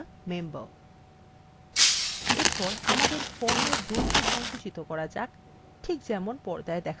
এরপর আমাদের ফর্ম এর দৈর্ঘ্য সংকুচিত করা যাক ঠিক যেমন পর্দায় দেখানো আছে